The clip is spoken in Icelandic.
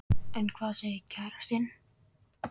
En hvað segir kærastinn?